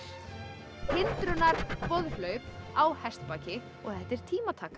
hindrunarboðhlaup á hestbaki og þetta er tímataka